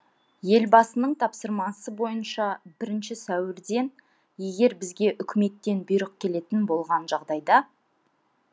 елбасының тапсырмасы бойынша бірінші сәуірден егер бізге үкіметтен бұйрық келетін болған жағдайда